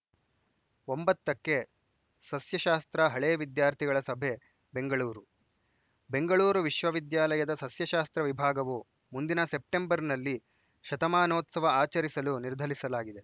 ಒಂಬತ್ತಕ್ಕೆ ಸಸ್ಯಶಾಸ್ತ್ರ ಹಳೇ ವಿದ್ಯಾರ್ಥಿಗಳ ಸಭೆ ಬೆಂಗಳೂರು ಬೆಂಗಳೂರು ವಿಶ್ವವಿದ್ಯಾಲಯದ ಸಸ್ಯಶಾಸ್ತ್ರ ವಿಭಾಗವು ಮುಂದಿನ ಸೆಪ್ಟಂಬರ್‌ನಲ್ಲಿ ಶತಮಾನೋತ್ಸವ ಆಚರಿಸಲು ನಿರ್ಧರಿಸಲಾಗಿದೆ